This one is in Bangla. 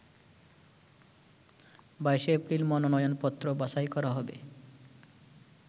২২শে এপ্রিল মনোনয়নপত্র বাছাই করা হবে।